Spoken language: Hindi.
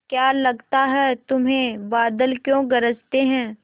क्या लगता है तुम्हें बादल क्यों गरजते हैं